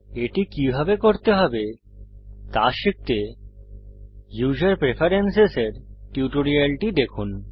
এটি কিভাবে করতে হবে তা শিখতে উসের প্রেফারেন্স এর টিউটোরিয়ালটি দেখুন